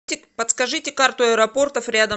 подскажите карту аэропортов рядом